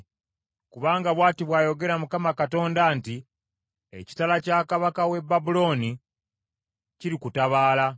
“ ‘Kubanga bw’ati bw’ayogera Mukama Katonda nti, “ ‘Ekitala kya kabaka w’e Babulooni kirikutabaala.